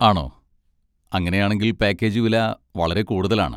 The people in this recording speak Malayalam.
ആണോ, അങ്ങനെയാണെങ്കിൽ പാക്കേജ് വില വളരെ കൂടുതലാണ്.